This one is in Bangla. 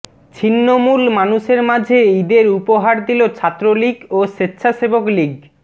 ছিন্নমূল মানুষের মাঝে ঈদের উপহার দিল ছাত্রলীগ ও স্বেচ্ছাসেবক লীগ